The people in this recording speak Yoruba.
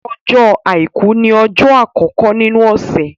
Ọjọ́ àìkú ní ọjọ́ àkọ́kọ́ nínu ọ̀sẹ̀.